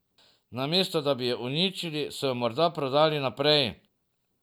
Namesto da bi jo uničili, so jo morda prodali naprej.